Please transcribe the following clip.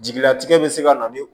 Jigilatigɛ bɛ se ka na ni